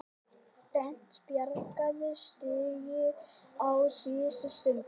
Bent bjargaði stigi á síðustu stundu